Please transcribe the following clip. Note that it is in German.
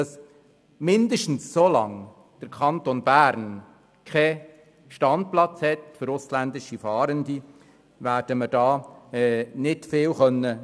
Mindestens solange der Kanton Bern keinen Standplatz für ausländische Fahrende hat, werden wir hiermit nicht viel erreichen können.